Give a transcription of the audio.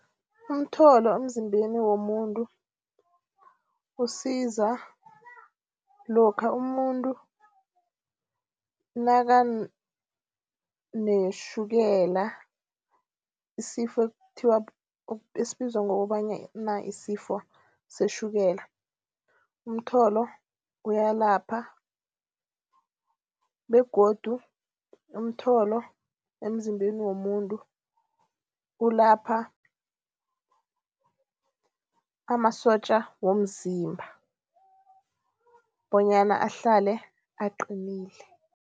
Umtholo emzimbeni womuntu, usiza lokha umuntu nakanetjhukela, isifo ekuthiwa esibizwa ngokobana yisifo setjhukela. Umtholo uyalapha begodu umtholo emzimbeni womuntu ulapha amasotja womzimba bonyana ahlale aqinile.